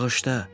Bağışla.